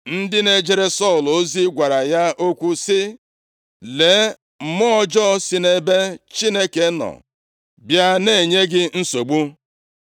Ndị na-ejere Sọl ozi gwara ya okwu sị, “Lee, mmụọ ọjọọ si nʼebe Chineke nọ bịa na-enye gị nsogbu.